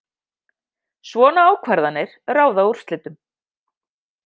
Svona ákvarðanir ráða úrslitum